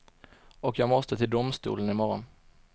Och jag måste till domstolen i morgon.